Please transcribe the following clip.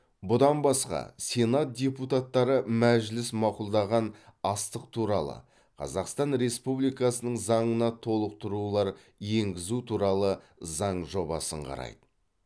бұдан басқа сенат депутаттары мәжіліс мақұлдаған астық туралы қазақстан республикасының заңына толықтырулар енгізу туралы заң жобасын қарайды